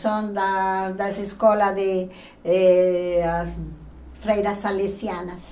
São da das escolas de eh freiras salesianas.